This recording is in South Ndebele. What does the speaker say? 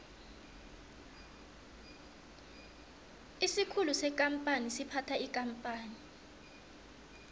isikhulu sekampani siphatha ikampani